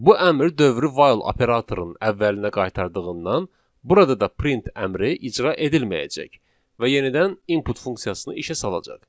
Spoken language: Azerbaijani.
Bu əmr dövrü while operatorunun əvvəlinə qaytardığından, burada da print əmri icra edilməyəcək və yenidən input funksiyasını işə salacaq.